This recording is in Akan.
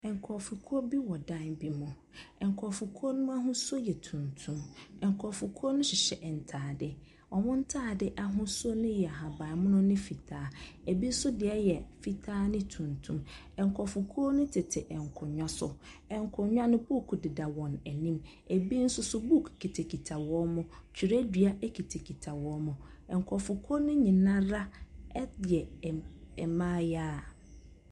Nkurɔfokuo bi wɔ dan bi mu. Nkurɔfokuo no ahosuo yɛ tuntum. Nkurɔfokuo no hyehyɛ ntaade. Wɔn ntaade ahosuo no yɛ ahabanmono ne fitaa, bi nso deɛ yɛ fitaa ne tuntum. Nkurɔfokuo no tete nkonnwa so. Nkonnwa no, book deda wɔn anim. Bi nso book kitakita wɔn. Twerɛdua kitakita wɔn. Nkurɔfokuo no nyinaa yɛ mmaayewa.